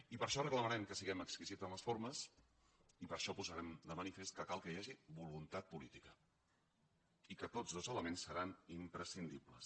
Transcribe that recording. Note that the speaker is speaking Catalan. i per això reclamarem que siguem exquisits en les formes i per això posarem de manifest que cal que hi hagi voluntat política i que tots dos elements seran imprescindibles